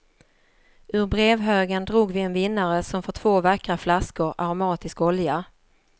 Ur brevhögen drog vi en vinnare som får två vackra flaskor aromatisk olja.